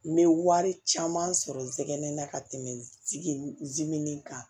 N bɛ wari caman sɔrɔ n tɛgɛnɛ ka tɛmɛ zimɛnni kan